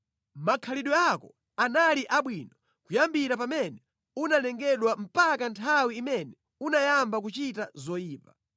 Makhalidwe ako anali abwino kuyambira pamene unalengedwa mpaka nthawi imene unayamba kuchita zoyipa.